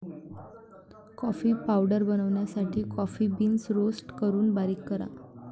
Coffee powder बनवण्यासाठी coffee beans roast करून बारीक करा.